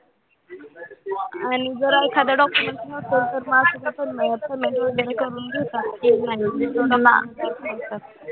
आणि जर एखादा documents नसल तर करून घेतात minutes